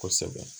Kosɛbɛ